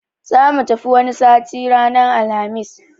Zamu tafi wani sati ranar Alhamis